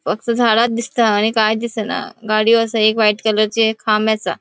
फक्त झाडा दिसता आणि काय दिसना गाड़ियों असा एक व्हाइट कलरची एक खाम असा.